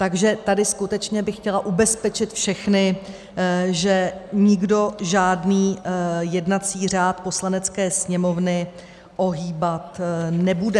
Takže tady skutečně bych chtěla ubezpečit všechny, že nikdo žádný jednací řád Poslanecké sněmovny ohýbat nebude.